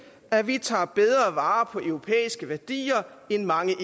at vi tager bedre vare på europæiske værdier end mange